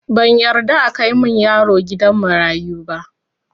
Ban yarda akai min yaro gidan marayu ba